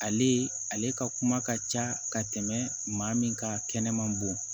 Ale ale ka kuma ka ca ka tɛmɛ maa min ka kɛnɛma bɔn